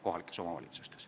Urve Tiidus, palun!